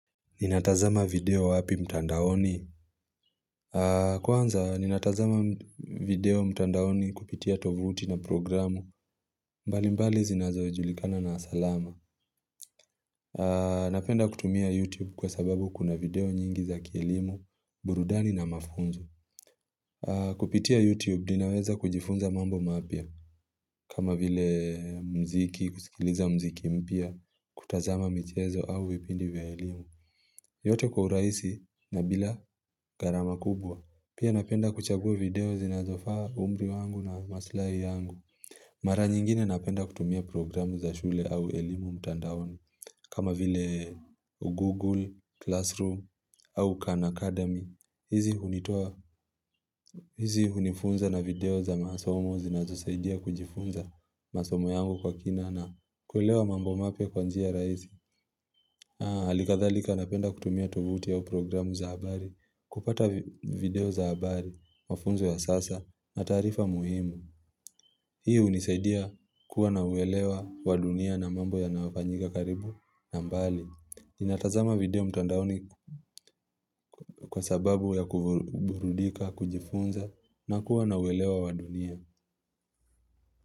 Ninatazama video wapi mtandaoni? Kwanza ninatazama video mtandaoni kupitia tovuti na programu mbalimbali zinazojulikana na salama Napenda kutumia YouTube kwa sababu kuna video nyingi za kielimu, burudani na mafunzo. Kupitia YouTube ninaweza kujifunza mambo mapya. Kama vile muziki, kusikiliza muziki mpya, kutazama michezo au vipindi vya elimu. Yote kwa urahisi na bila gharama kubwa. Pia napenda kuchagua video zinazofaa umri wangu na maslahi yangu. Mara nyingine napenda kutumia programu za shule au elimu mtandaoni. Kama vile Google, Classroom au Khan Academy. Hizi hunifunza na video za masomo zinazosaidia kujifunza masomo yangu kwa kina na kuelewa mambo mapya kwa njia rahisi. Hali kadhalika napenda kutumia tovuti au programu za habari, kupata video za habari, mafunzo ya sasa, na taarifa muhimu. Hii hunisaidia kuwa na uelewa wa dunia na mambo yanayofanyika karibu na mbali. Ninatazama video mtandaoni kwa sababu ya kuburudika, kujifunza, na kuwa na uelewa wa dunia.